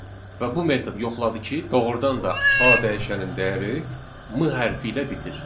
Və bu metod yoxladı ki, doğrudan da A dəyişənin dəyəri M hərfi ilə bitir.